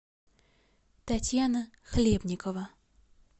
татьяна хлебникова